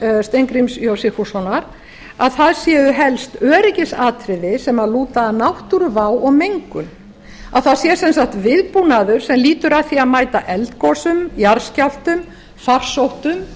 þingmaður steingríms j sigfússonar að það séu helst öryggisatriði sem lúta að náttúruvá og gegnum að það sé sem sagt viðbúnaður sem lýtur að því að mæta eldgosum jarðskjálftum farsóttum